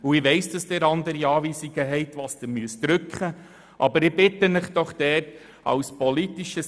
Ich weiss, dass Sie andere Anweisungen haben, was das Drücken der Abstimmungsknöpfe anbelangt.